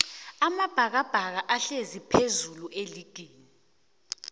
amabhakabhaka ahlezi phezullu eligini